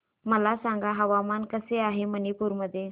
मला सांगा हवामान कसे आहे मणिपूर मध्ये